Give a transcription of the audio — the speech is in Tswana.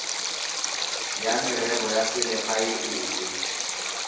ya merero ya selegae efe